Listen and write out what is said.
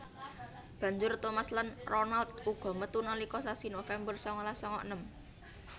Banjur Thomas lan Ronald uga metu nalika sasi November sangalas sanga enem